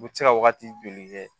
U bɛ se ka wagati joli kɛ